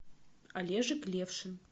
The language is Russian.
олежек левшин